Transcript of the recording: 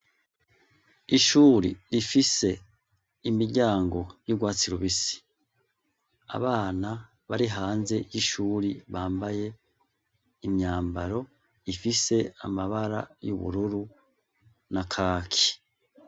Ishure rifise imiryango y'urwatsi rubisi. Abana bambaye imyambaro ifise amabara y'ubururu na kaki.